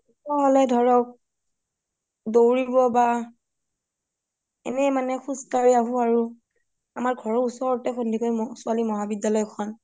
পুৱা হলে দৌৰিব বা এনেই মানে খোজ কাঢ়ি আঁহো আৰু আমাৰ ঘৰৰ ওচৰতে সন্দিকৈ মহাবিদ্যালয় খন